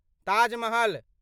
Taj Mahal